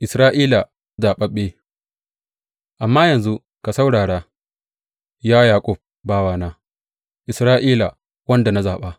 Isra’ila zaɓaɓɓe Amma yanzu ka saurara, ya Yaƙub, bawana, Isra’ila, wanda zaɓa.